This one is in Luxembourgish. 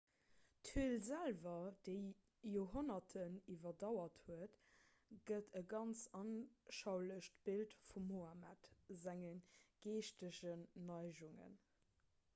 d'höl selwer déi d'joerhonnerten iwwerdauert huet gëtt e ganz anschaulecht bild vum mohammed senge geeschtegen neigungen